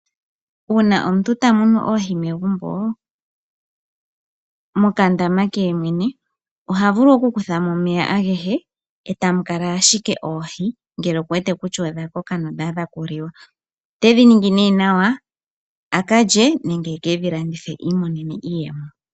Uuna omuntu tamunu oohi megumbo mokandama ke yemwene oha vulu oku kuthamo omeya agehe etamu kala ashike oohi ngele oku wete kutya odha koka nodha adha okuliwa otedhi ningi nee nawa akalye nenge eke dhilandithe i imonene iiyemo.